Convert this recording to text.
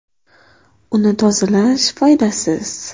Uni tozalash foydasiz.